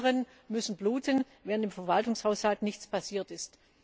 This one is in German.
Alle anderen müssen bluten, während im Verwaltungshaushalt nichts passiert ist.